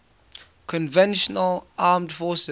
conventional armed forces